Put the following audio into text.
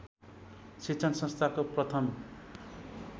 शिक्षण संस्थाको प्रथम